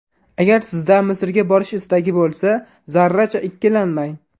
Agar sizda Misrga borish istagi bo‘lsa, zarracha ikkilanmang.